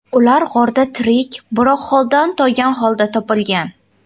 Ular g‘orda tirik, biroq holdan toygan holda topilgan .